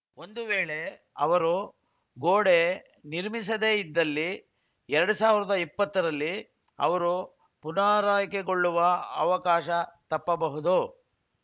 ಒಂದು ವೇಳೆ ಅವರು ಗೋಡೆ ನಿರ್ಮಿಸದೆ ಇದ್ದಲ್ಲಿ ಎರಡು ಸಾವಿರದ ಇಪ್ಪತ್ತರಲ್ಲಿ ಅವರು ಪುನರಾಯ್ಕೆಗೊಳ್ಳುವ ಅವಕಾಶ ತಪ್ಪಬಹುದು